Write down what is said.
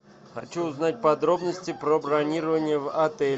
хочу узнать подробности про бронирование в отеле